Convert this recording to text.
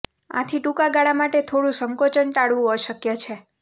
આથી ટૂંકા ગાળા માટે થોડું સંકોચન ટાળવું અશક્ય છે